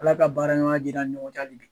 Ala ka baara ɲɔgɔnya jiidi an ni ɲɔgɔn cɛ hali bi.